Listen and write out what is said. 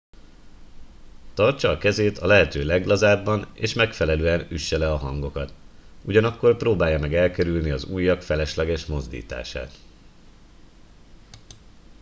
tartsa a kezét a lehető leglazábban és megfelelően üsse le a hangokat ugyanakkor próbálja meg elkerülni az ujjak felesleges mozdítását